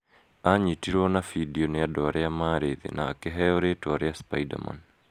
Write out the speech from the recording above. Aanyitirũo na bindiũ nĩ andũ arĩa maarĩ thĩĩ na akĩheo rĩĩtwa rĩa "Spiderman".